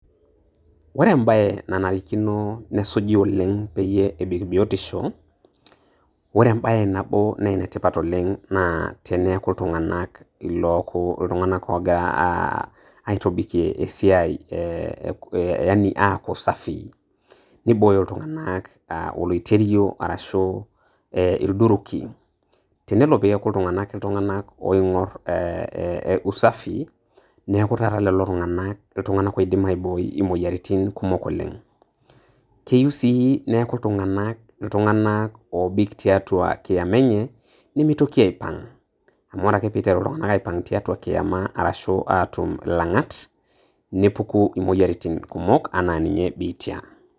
Ore embae nanarikino, nesuji oleng' peyie ebik biotisho. Ore embae nabo naa, enetipat oleng' naa teneaku iltung'anak illoku iltung'anak og'ira aitobikie esiai, yaani aaku safi, neibooyo iltung'ana oleiterio arashu ildukin. Tenelo neaku iltung'anak iltung'anak oing'or usafi neaku taata leo tung'ana iltung'ana oidim aibooi, imoyaritin kumok oleng'. Keyiu sii neaku iltung'anak iltung'anak oobik tiatua kiama enye nemeitoki aaipang' amu kore ake pee eiteru iltung'ana aipang' tiatua kiama arashu aatum ilang'at nepuku imoyaritin kumok anaa e biitia.